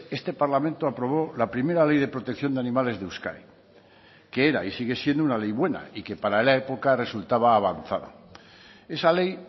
este parlamento aprobó la primera ley de protección de animales de euskadi que era y sigue siendo una ley buena y que para la época resultaba avanzada esa ley